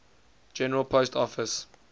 general post office